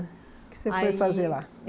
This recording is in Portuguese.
O que você foi fazer lá? Aí